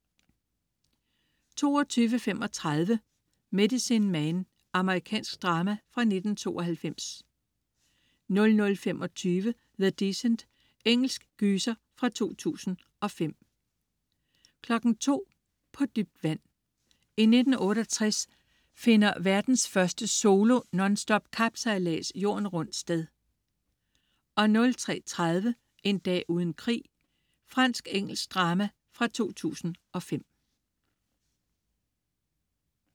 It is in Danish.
22.35 Medicine Man. Amerikansk drama fra 1992 00.25 The Descent. Engelsk gyser fra 2005 02.00 På dybt vand. I 1968 finder verdens første solo, nonstop, kapsejlads Jorden rundt sted 03.30 En dag uden krig. Fransk-engelsk drama fra 2005